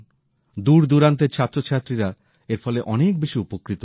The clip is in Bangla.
দূর দূরান্তের ছাত্রছাত্রীরা এর ফলে অনেক বেশি উপকৃত হবে